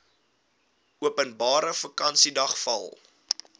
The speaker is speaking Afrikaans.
openbare vakansiedag val